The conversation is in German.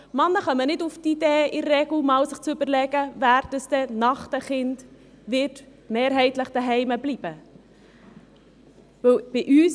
Männer kommen in der Regel nicht auf die Idee, sich zu überlegen, wer eigentlich nach der Geburt der Kinder mehrheitlich zuhause bleiben wird.